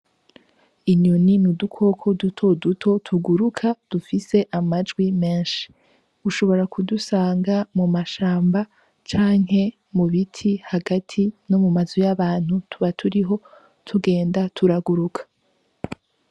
Inyoni ni udukoko duto duto tuguruka, dufise amajwi menshi. Ushobora kudusanga mu mashamba, canke mu biti hagati, no mu mazu y'abantu tuba turiho tugenda turaguruka.